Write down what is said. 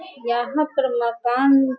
यहां पर मकान --